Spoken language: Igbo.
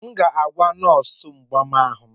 M ga-agwa nọọsụ mgbaàmà ahụ.